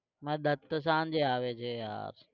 મારો દત્ત તો સાંજે આવે છે યાર.